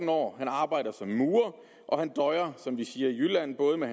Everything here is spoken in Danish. år han arbejder som murer og han døjer som vi siger i jylland både med